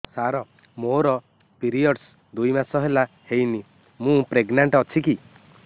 ସାର ମୋର ପିରୀଅଡ଼ସ ଦୁଇ ମାସ ହେଲା ହେଇନି ମୁ ପ୍ରେଗନାଂଟ ଅଛି କି